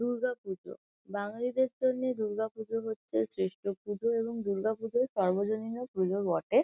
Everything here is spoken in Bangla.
দুর্গাপূজো বাঙ্গালীদের জন্যে দুর্গাপুজো হচ্ছে শ্রেষ্ঠ পূজো এবং দুর্গাপূজো সার্বজনীন ও পূজো বটে ।